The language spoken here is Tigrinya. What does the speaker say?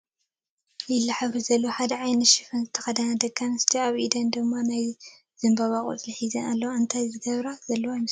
ሊላ ሕብሪ ዘለዎ ሓደ ዓይነት ሽፎን ዝተኸደና ደቂ ኣንስትዮ ፣ ኣብ ኢደን ድማ ናይ ዘምባባ ቆፅሊ ሒዘን ኣለዋ፡፡ እንታይ ዝገብራ ዘለዋ ይመስለኩም?